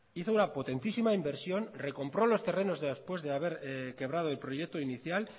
hizo una potentísima inversión recompro los terrenos después de haber quebrado el proyecto inicial